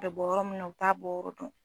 bɛ bɔ yɔrɔ min na u t'a bɔyɔrɔ dɔn.